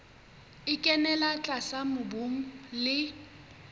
e kenella tlase mobung le